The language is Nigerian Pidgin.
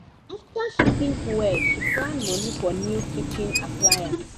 after she think well she plan money for new kitchen appliance.